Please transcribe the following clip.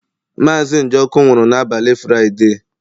Mazị Njoku nwụrụ n'abalị Fraịde.